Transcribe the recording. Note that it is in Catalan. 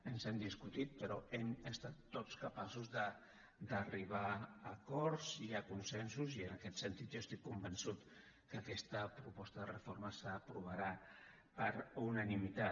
ens hem discutit però hem estat tots capaços d’arribar a acords i a consensos i en aquest sentit jo estic convençut que aquesta proposta de reforma s’aprovarà per unanimitat